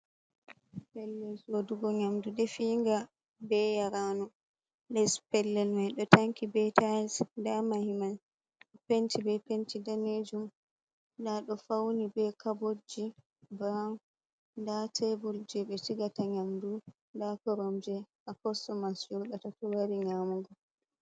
Pellel soɗugo nyamdu defiyinga be yaranu, les pellel mai ɗo tanki be tailes nɗa mahimai ɗo penti be penti danejum, nda ɗo fauni be cabotji brawn nda tebul je ɓe sigata nyamdu nda koromje ha kossomas joɗata to wari nyamugo.